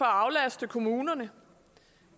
aflaste kommunerne